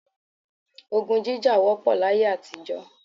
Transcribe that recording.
Ogun jíjà wọ́pọ̀ láyé àtijọ́